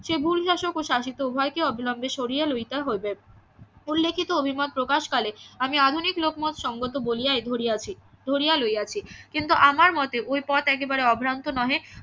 সে ও শাসিত উভয়কে অবিলম্বে সরিয়ে লইতে হইবে উল্লেখিত অভিমত প্রকাশকালে আমি আধুনিক লোকমত সঙ্গত বলিয়াই ধরিয়াছি ধরিয়া লইয়াছি কিন্তু আমার মতে ওই পথ একেবারে অভ্রান্ত নহে